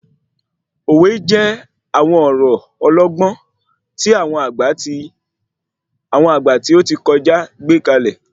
Òwe jẹ́ àwọn ọ̀rọ̀ ọlọgbọ́n tí àwọn àgbà tí óti kọjá gbékalẹ̀